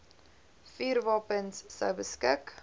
vuurwapens sou beskik